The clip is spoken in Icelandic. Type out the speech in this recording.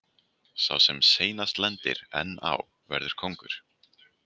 Sá sem seinast lendir enn á verður kóngur.